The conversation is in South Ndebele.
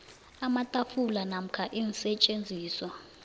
amatafula namkha iinsetjenziswa